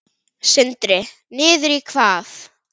Sindri: Niður í hvað?